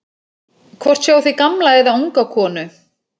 Hvort sjáið þið gamla eða unga konu?